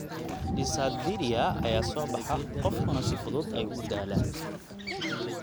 Dysarthria (gaabitaanka iyo hadalka dhuuban) ayaa soo baxa, qofkuna si fudud ayuu u daalaa.